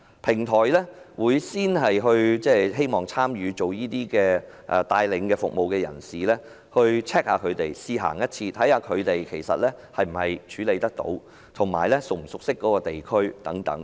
平台首先會要求參與提供導遊服務的人試行一次路線，看看他們能否處理，以及是否熟悉該區等。